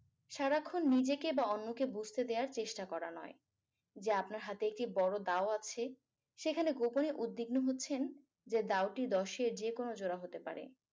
সারাক্ষন নিজেকে বা অন্যকে বুঝতে দেয়ার চেষ্টা করা নয় যে আপনার হাতে একটি বড় দাও আছে সেখানে গোপনে উদ্বিগ্ন হচ্ছেন যে দাওটি দশের যেকোনো জোড়া হতে পারে